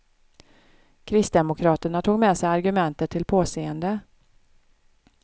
Kristdemokraterna tog med sig argumentet till påseende.